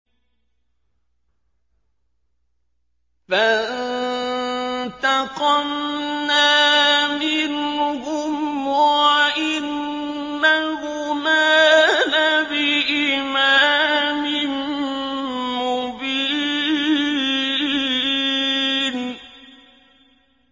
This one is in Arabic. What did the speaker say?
فَانتَقَمْنَا مِنْهُمْ وَإِنَّهُمَا لَبِإِمَامٍ مُّبِينٍ